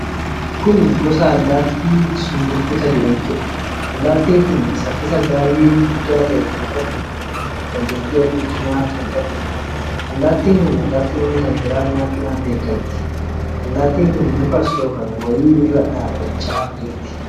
Kun gosa allaattii sumburbuta jedhamtuudha. Allaattiin kun saffisa baay'ee guddaa kan qabduu fi dandeetti arguu cimaa kan qabduudha. Allaattin kun allaattiwwwan kan biraa nyaachuudhaan beekamti. Allaattiin kun muka soofame wayii irra dhaabachaa jirti.